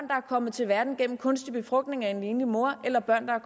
kommet til verden gennem kunstig befrugtning af en enlig mor eller børn